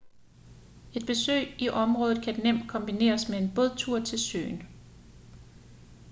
et besøg i området kan nemt kombineres med en bådtur til søen